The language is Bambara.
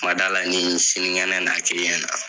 M'a d'a la ni sinigɛnɛ na k'i ɲɛna.